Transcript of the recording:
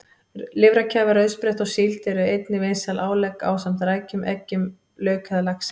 Lifrarkæfa, rauðspretta og síld eru einnig vinsæl álegg ásamt rækjum, eggjum, lauk eða laxi.